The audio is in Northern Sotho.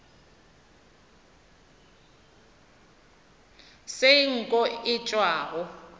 se nko ye e tšwago